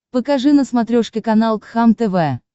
покажи на смотрешке канал кхлм тв